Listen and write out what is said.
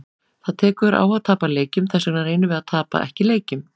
Það tekur á að tapa leikjum, þessvegna reynum við að tapa ekki leikjum.